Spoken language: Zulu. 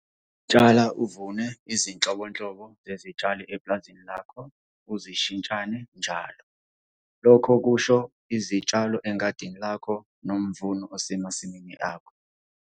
Tshala uvune izinhlobonhlobo zezitshalo epulazini lakho uzishintshane njalo. Lokhu kusho izitshalo engadini lakho nomvuno osemasimini akho.